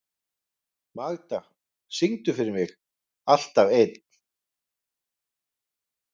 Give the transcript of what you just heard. Magda, syngdu fyrir mig „Alltaf einn“.